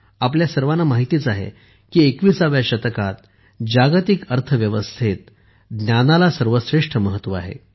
आपल्या सर्वांना माहित आहेच की 21 व्या शतकात जागतिक अर्थव्यवस्थेत ज्ञानाला सर्वश्रेष्ठ महत्व आहे